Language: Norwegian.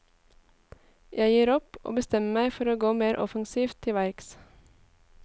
Jeg gir opp, og bestemmer meg for å gå mer offensivt til verks.